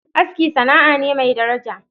Aski sana'a ne mai daraja.